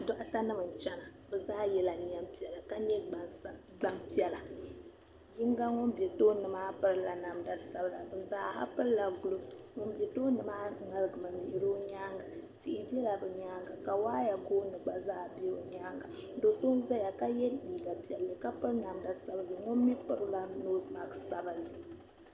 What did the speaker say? Dɔɣita nim n chana, bɛzala yela neem piɛla, ka nyɛ gban piɛla, yiŋga ŋun be tooni maa pirila namdia sabila ,bizaaha pirilagulɔf ŋun be tooni maa, ŋmaligimi lihiri ɔ nyaaŋa, tihi bela bɛ nyaaŋa ka waaya gooni gba zaa be nyaaŋa do' so n ʒaya ka ye liiga piɛli ka piri namda sabinli, ŋun mi pirila nosemats sabinli.